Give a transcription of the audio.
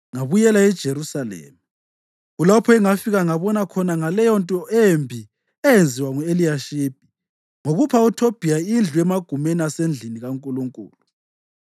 ngabuyela eJerusalema. Kulapho engafika ngabona khona ngaleyonto embi eyenziwa ngu-Eliyashibi ngokupha uThobhiya indlu emagumeni asendlini kaNkulunkulu.